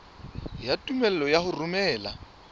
ya tumello ya ho romela